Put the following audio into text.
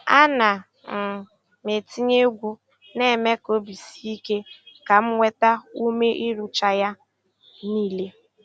A na um m etinye egwu na-eme ka obi sie ike ka m nweta ume ịrụcha ya niile.